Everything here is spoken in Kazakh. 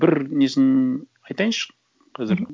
бір несін айтайыншы қазір